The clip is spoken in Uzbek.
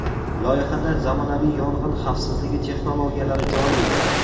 Loyihada zamonaviy yong‘in xavfsizligi texnologiyalari joriy etiladi.